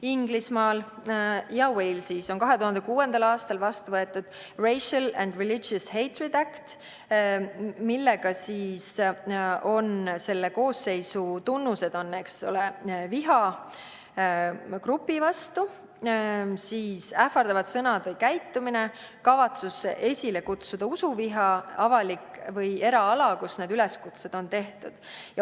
Inglismaal ja Walesis on 2006. aastal vastu võetud Racial and Religious Hatred Act, mille kohaselt on vihakuriteo koosseisu tunnused viha grupi vastu, ähvardavad sõnad või käitumine, kavatsus esile kutsuda usuviha, avalik või eraala, kus need üleskutsed on tehtud.